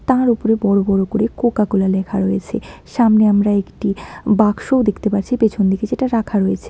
তার উপরে বড়ো বড়ো করে কোকাকোলা লেখা রয়েছে সামনে আমরা একটি বাক্সও দেখতে পারছি পেছন দিকে যেটা রাখা রয়েছে।